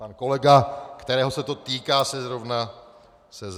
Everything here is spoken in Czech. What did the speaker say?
Pan kolega, kterého se to týká, se zrovna baví.